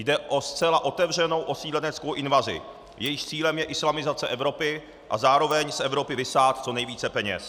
Jde o zcela otevřenou osídleneckou invazi, jejímž cílem je islamizace Evropy a zároveň z Evropy vysát co nejvíce peněz.